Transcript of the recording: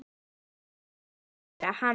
Hann myndi ekki heyra hana.